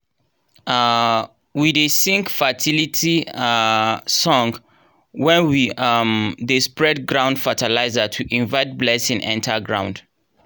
um we dey sing fertility um song when we um dey spread ground fertilizer to invite blessing enter ground.